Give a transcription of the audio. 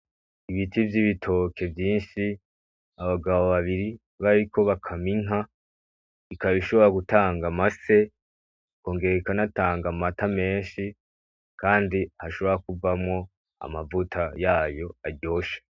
Ibiti vy'ibitoki vyinshi abagabo bainka biri bariko bakamwa inka, ikaba ishobora gutanga amase ikongera ikanatanga amata menshi. Kandi hashobora kuvamwo amavuta yayo aryoshe.